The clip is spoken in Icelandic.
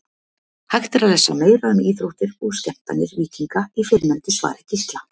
Hægt er að lesa meira um íþróttir og skemmtanir víkinga í fyrrnefndu svari Gísla.